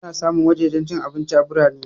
Ana samun wajajen cin abinci a birane